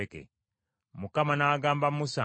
Mukama n’agamba Musa nti,